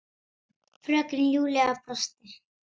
Fröken Júlía brosti.